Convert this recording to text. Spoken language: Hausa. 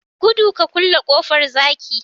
gudu ka kulle kofar zaki